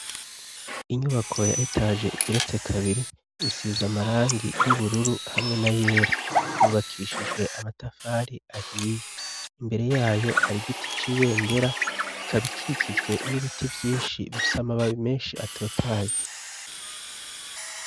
Inyubako yahetaje igeretse kabiri isiza amarangi y'ubururu hamwe na yera yubakishijwe amatafari ahiye imbere yayo hari giti cibendera ikaba ikikijwe n'ibiti byinshi bifise amababi menshi atotaye.